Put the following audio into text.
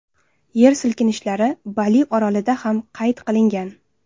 Yer silkinishlari Bali orolida ham qayd qilingan.